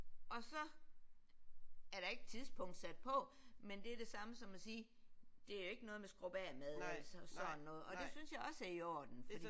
Og så er der ikke tidspunkt sat på men det er det samme som at sige det er jo ikke noget med skrub af mad og sådan noget og det synes jeg også er i orden